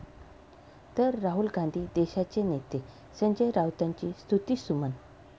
...तर राहुल गांधी देशाचे नेते, संजय राऊतांची स्तुतीसुमनं